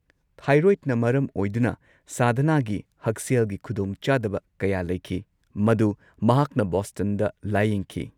ꯊꯥꯏꯔꯣꯏꯗꯅ ꯃꯔꯝ ꯑꯣꯏꯗꯨꯅ ꯁꯥꯙꯅꯥꯒꯤ ꯍꯛꯁꯦꯜꯒꯤ ꯈꯨꯗꯣꯡꯆꯥꯗꯕ ꯀꯌꯥ ꯂꯩꯈꯤ, ꯃꯗꯨ ꯃꯍꯥꯛꯅ ꯕꯣꯁꯇꯟꯗ ꯂꯥꯌꯦꯡꯈꯤ꯫